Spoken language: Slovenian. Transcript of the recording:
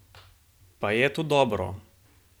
Pa je to dobro?